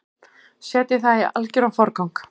Setjið það í algeran forgang.